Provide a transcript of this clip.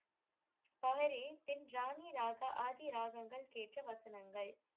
பாரீர் தென் ராணிராக ஆதி ராகங்கள் கேட்ட வசனங்கள்